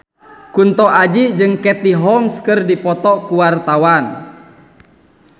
Kunto Aji jeung Katie Holmes keur dipoto ku wartawan